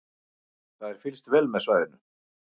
Það er fylgst vel með svæðinu